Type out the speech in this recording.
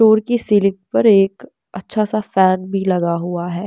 Floor की slip पर एक अच्छा सा फैन भी लगा हुआ है।